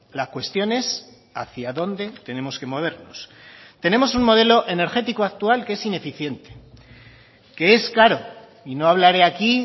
la cuestión es hacia dónde tenemos que movernos tenemos un modelo energético actual que es ineficiente que es caro y no hablaré aquí